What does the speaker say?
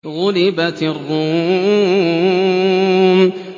غُلِبَتِ الرُّومُ